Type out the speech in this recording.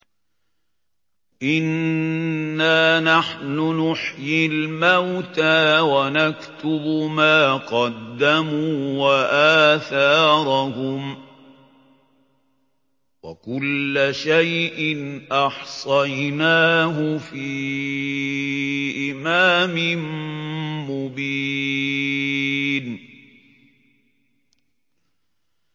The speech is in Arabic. إِنَّا نَحْنُ نُحْيِي الْمَوْتَىٰ وَنَكْتُبُ مَا قَدَّمُوا وَآثَارَهُمْ ۚ وَكُلَّ شَيْءٍ أَحْصَيْنَاهُ فِي إِمَامٍ مُّبِينٍ